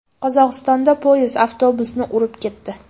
Qozog‘istonda poyezd avtobusni urib ketdi.